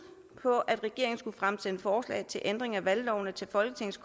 på at regeringen skulle fremsætte forslag til ændring af valglovene til folketings